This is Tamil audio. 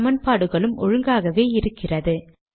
சமன்பாடுகளும் ஒழுங்காகவே இருக்கிறது